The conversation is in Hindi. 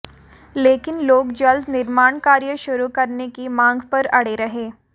लेकिन लोग जल्द निर्माण कार्य शुरू करने की मांग पर अड़े रहे